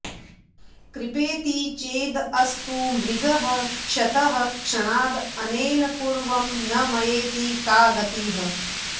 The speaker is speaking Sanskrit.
कृपेति चेद् अस्तु मृगः क्षतः क्षणाद् अनेन पूर्वं न मयेति का गतिः